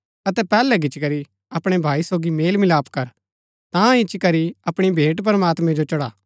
अतै पैहलै गिचीकरी अपणै भाई सोगी मेल मिलाप कर ता इच्ची करी अपणी भेंट प्रमात्मैं जो चढ़ा